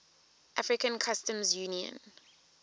african customs union